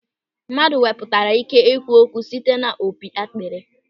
Mmadụ wepụtara ị́ké ikwu okwu site n'opi akpịrị.